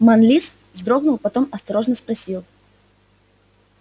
манлис вздрогнул потом осторожно спросил